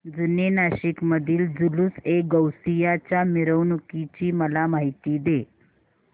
जुने नाशिक मधील जुलूसएगौसिया च्या मिरवणूकीची मला माहिती दे